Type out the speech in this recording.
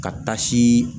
Ka tasi